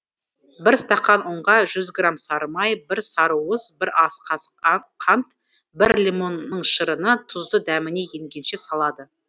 бір стақан ұнға жүз грамм сары май бір сарыуыз бір ас қасық қант бір лимонның шырыны тұзды дәміне енгенше салады